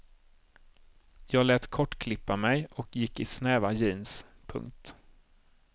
Jag lät kortklippa mig och gick i snäva jeans. punkt